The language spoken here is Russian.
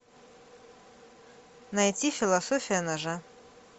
найти философия ножа